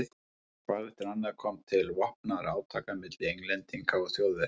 Hvað eftir annað kom til vopnaðra átaka milli Englendinga og Þjóðverja.